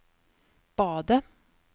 badet